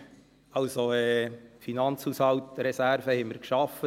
Wir haben Finanzhaushaltreserven geschaffen.